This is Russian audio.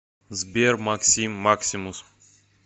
сбер максим максимус